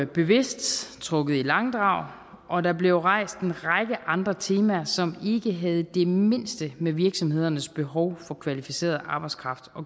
bevidst trukket i langdrag og der blev rejst en række andre temaer som ikke havde det mindste med virksomhedernes behov for kvalificeret arbejdskraft